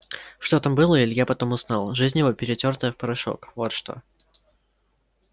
что там было илья потом узнал жизнь его перетёртая в порошок вот что